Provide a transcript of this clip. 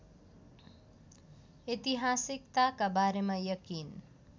ऐतिहासिकताका बारेमा यकिन